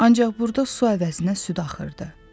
Ancaq burda su əvəzinə süd axırdı.